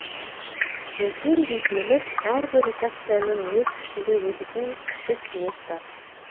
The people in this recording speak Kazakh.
үлкен дейтініміз әрбір редакцияның өз ішінде өтетін кіші кеңес бар